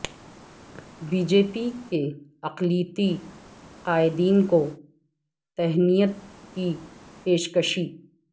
be J P کے اقلیتی قائدین کو تہنیت کی پیشکشی